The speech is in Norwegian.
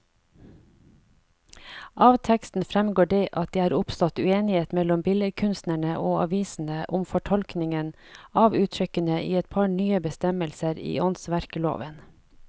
Av teksten fremgår det at det er oppstått uenighet mellom billedkunstnerne og avisene om fortolkningen av uttrykkene i et par nye bestemmelser i åndsverkloven.